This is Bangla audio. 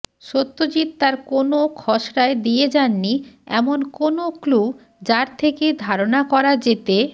সত্যজিৎ তাঁর কোনও খসড়ায় দিয়ে যাননি এমন কোনও ক্লু যার থেকে ধারণা করা যেতে